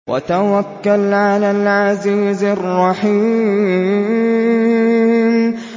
وَتَوَكَّلْ عَلَى الْعَزِيزِ الرَّحِيمِ